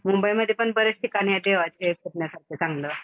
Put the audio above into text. मुंबईमध्ये पण बरेच ठिकाण आहेत फिरण्यासारख चांगलं.